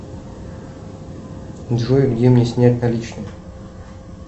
джой где мне снять наличные